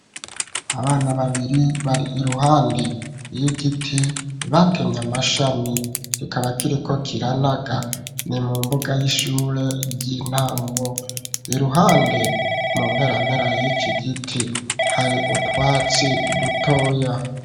Abana babiri bari iruhande y'igiti batemye amashami kikaba kiriko kiranaga ni mu mbuga y'ishure ry'intango iruhande mu mpera mpera y'iki giti hari utwatsi dutoya.